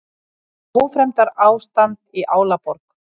Ófremdarástand í Álaborg